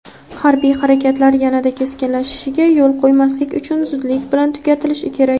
Harbiy harakatlar yanada keskinlashishiga yo‘l qo‘ymaslik uchun zudlik bilan tugatilishi kerak.